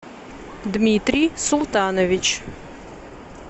дмитрий султанович